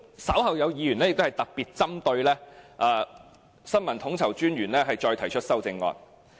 稍後有議員會特別針對新聞統籌專員的開支提出修正案。